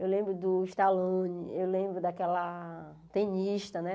Eu lembro do Stallone, eu lembro daquela tenista, né?